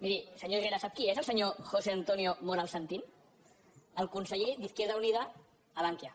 miri senyor herrera sap qui és el senyor josé antonio moral santín el conseller de izquierda unida a bankia